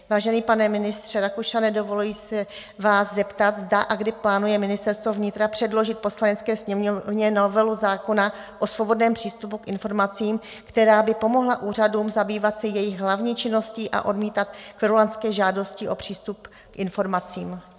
Vážený pane ministře Rakušane, dovoluji se vás zeptat, zda a kdy plánuje Ministerstvo vnitra předložit Poslanecké sněmovně novelu zákona o svobodném přístupu k informacím, která by pomohla úřadům zabývat se jejich hlavní činností a odmítat kverulantské žádosti o přístup k informacím?